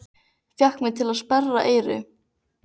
Fékk mig til að sperra eyru.